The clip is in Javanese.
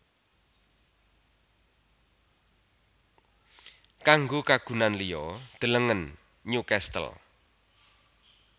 Kanggo kagunan liya delengen Newcastle